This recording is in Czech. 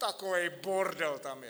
Takovej bordel tam je.